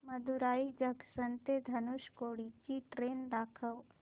Madurai junction ते धनुषकोडी ची train दाखव